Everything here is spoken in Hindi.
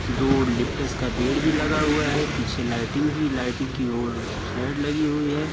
दो लिप्टस का पेड़ भी लगा हुआ हैं। पीछे लाइटिंग भी लाइटिंग की ओर स्लाइड लगी हुई है।